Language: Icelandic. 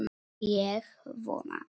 Ég vona ekki